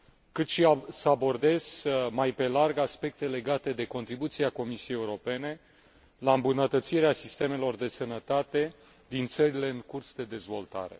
cât și să abordez mai pe larg aspecte legate de contribuția Comisiei Europene la îmbunătățirea sistemelor de sănătate din țările în curs de dezvoltare.